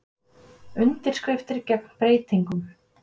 Undirskriftir gegn breytingum